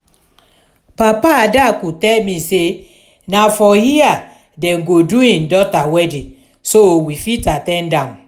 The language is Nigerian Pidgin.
papa adaku tell me say na for here dem go do im daughter wedding so we fit at ten d am